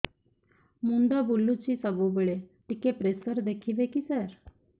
ମୁଣ୍ଡ ବୁଲୁଚି ସବୁବେଳେ ଟିକେ ପ୍ରେସର ଦେଖିବେ କି ସାର